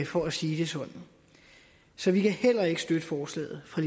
for at sige det sådan så vi kan heller ikke støtte forslaget fra